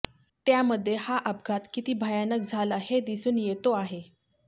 त्यामध्ये हा अपघात किती भयानक झाला हे दिसून येतो आहे